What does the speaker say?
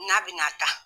N'a bɛna taa